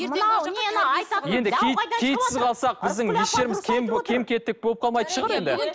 енді киіт киітсіз қалсақ біздің еш жеріміз кем кем кетік болып қалмайтын шығар енді